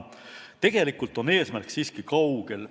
Tegelikult on eesmärk siiski kaugel.